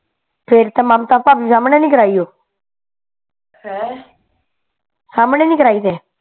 ਫੇਰ ਤਾਂ ਮਮਤਾ ਭਾਬੀ ਦੇ ਸਮਣੇ ਨੀ ਕਰਾਈ ਓ ਹੈਂ ਸਮਣੇ ਨੀ ਕਰਾਈ ਫੇਰ